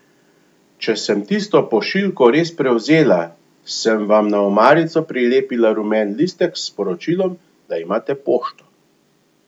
Če sem tisto pošiljko res prevzela, sem vam na omarico prilepila rumen listek s sporočilom, da imate pošto.